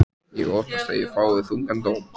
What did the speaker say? Ég óttast að ég fái þungan dóm.